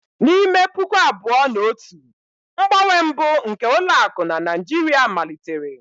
N'ime puku abụọ na otu, mgbanwe mbụ nke ụlọ akụ na Naijiria malitere.